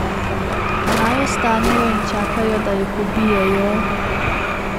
Naj ostanejo in čakajo, da jih ubijejo?